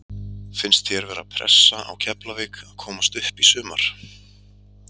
Finnst þér vera pressa á Keflavík að komast upp í sumar?